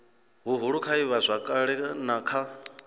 huhulu kha ivhazwakale na kha